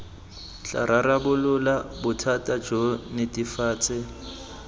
tla rarabolola bothata jo netefatsa